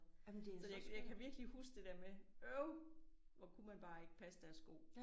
Så det jeg kan virkelig huske det der med øv hvor kunne man bare ikke passe deres sko